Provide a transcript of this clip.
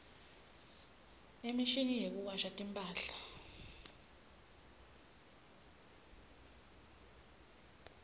imshini yekuwasha timphahla